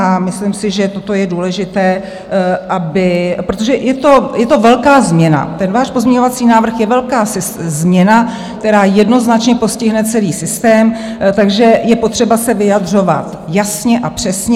A myslím si, že toto je důležité, protože je to velká změna, ten váš pozměňovací návrh je velká změna, která jednoznačně postihne celý systém, takže je potřeba se vyjadřovat jasně a přesně.